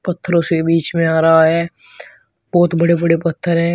पत्थरो से बीच में आ रहा है बहोत बड़े बड़े पत्थर है।